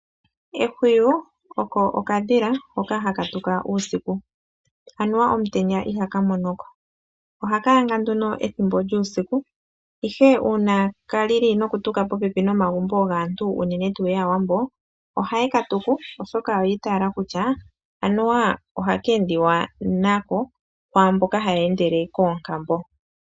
Ehwiyu olyo okadhila hoka haka tuka uusiku, anuwa omutenya ihaka mono ko. Ohaka yanga nduno ethimbo lyuusika, ihe uuna ka lili nokutuka popepi nomagumbo gaantu uunene tuu mboka yAawambo, yo ohaye ka tuku, oshoka oya itaala kutya anuwa ohaka endiwa nako kwaamboka haya endele koonkambo.